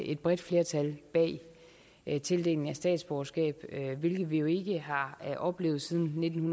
et bredt flertal bag tildelingen af statsborgerskab hvilket vi jo ikke har oplevet siden nitten